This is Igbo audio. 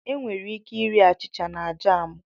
Enwere ike iri achịcha na jamú